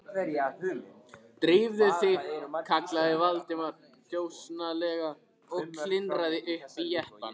Drífðu þig- kallaði Valdimar þjösnalega og klifraði upp í jeppann.